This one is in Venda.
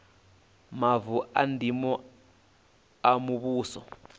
mavu a ndimo a muvhuso